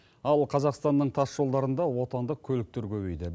ал қазақстанның тас жолдарында отандық көліктер көбейді